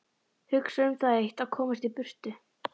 Hugsar um það eitt að komast í burtu.